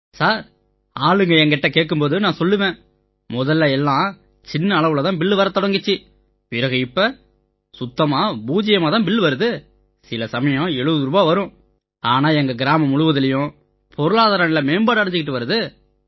sir ஆளுங்க என்கிட்ட கேட்கும் போது நான் சொல்லுவேன் முதல்ல எல்லா சின்ன அளவுல தான் பில் வரத் தொடங்கிச்சு பிறகு இப்ப சுத்தமா பூஜ்யம் தான் பில் வருது சில சமயம் 70 ரூபாய் வரும் ஆனா எங்க கிராமம் முழுசுலயும் பொருளாதார நிலை மேம்பாடு அடைஞ்சிட்டு வருது